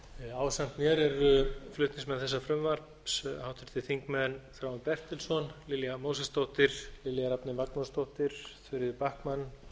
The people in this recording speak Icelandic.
ásamt mér eru flutningsmenn þessa frumvarps háttvirtir þingmenn þráinn bertelsson lilja mósesdóttir lilja rafney magnúsdóttir þuríður backman árni þór